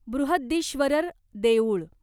बृहदीश्वरर देऊळ